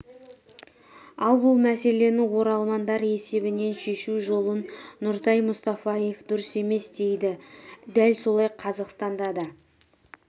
ал бұл мәселені оралмандар есебінен шешу жолын нұртай мұстафаев дұрыс емес дейді дәл солай қазақстанда да